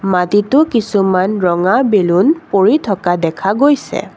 মাটিতো কিছুমান ৰঙা বেলুন পৰি থকা দেখা গৈছে।